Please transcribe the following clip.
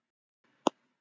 Var ekki allt í lagi?